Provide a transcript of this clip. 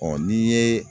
Ɔ n'i ye